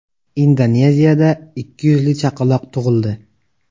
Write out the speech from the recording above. Indoneziyada ikki yuzli chaqaloq tug‘ildi .